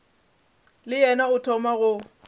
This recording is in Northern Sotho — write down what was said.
le yena o thoma go